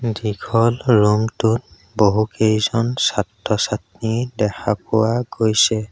দীঘল ৰুম টোত বহুকেইজন ছাত্ৰ ছাত্ৰী দেখা পোৱা গৈছে।